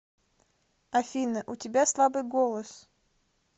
афина у тебя слабый голос